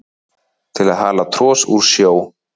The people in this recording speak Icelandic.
til að hala tros úr sjó